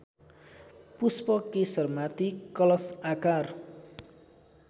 पुष्पकेशरमाथि कलश आकार